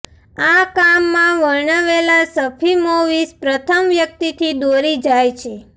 આ કામમાં વર્ણવેલા સર્ફિમોવિચ પ્રથમ વ્યક્તિથી દોરી જાય છે